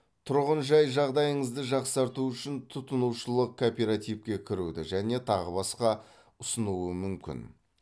тұрғын жай жағдайыңызды жақсарту үшін тұтынушылық кооперативке кіруді және тағы басқа ұсынуы мүмкін